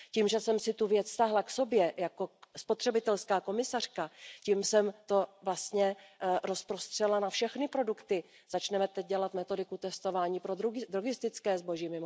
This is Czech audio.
Tím, že jsem si tu věc stáhla k sobě jako spotřebitelská komisařka, tím jsem to vlastně rozprostřela na všechny produkty. Mimochodem teď začneme dělat metodiku testování pro drogistické zboží.